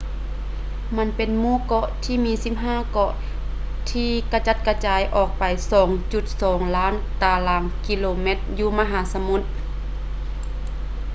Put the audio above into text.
ມັນເປັນໝູ່ເກາະທີ່ມີ 15 ເກາະທີ່ກະຈັດກະຈາຍອອກໄປ 2.2 ລ້ານຕາລາງກິໂລຕາແມັດຢູ່ມະຫາສະມຸດ